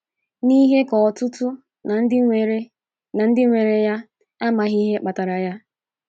N’ihe ka ọtụtụ ná ndị nwere ná ndị nwere ya, amaghị ihe kpatara ya.